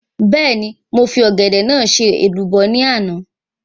Bẹ́ẹ̀ni, màá fi Ọ̀gẹ̀dẹ̀ náà ṣe èlùbọ́ ní ọ̀la